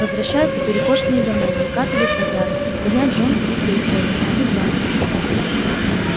возвращаются перекошенные домой накатывают водяры гоняют жён и детей порют призвание